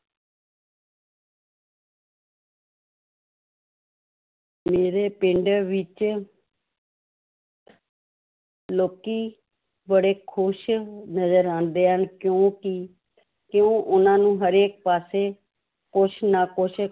ਮੇਰੇ ਪਿੰਡ ਵਿੱਚ ਲੋਕੀ ਬੜੇ ਖ਼ੁਸ਼ ਨਜ਼ਰ ਆਉਂਦੇ ਹਨ ਕਿਉਂਕਿ ਕਿਉਂ ਉਹਨਾਂ ਨੂੰ ਹਰੇਕ ਪਾਸੇ ਕੁਛ ਨਾ ਕੁਛ